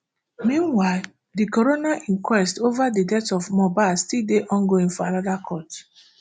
meanwhile di coroner inquest ova di death of mohbad still dey ongoing for anoda court